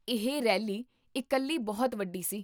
ਇਹ ਰੈਲੀ ਇਕੱਲੀ ਬਹੁਤ ਵੱਡੀ ਸੀ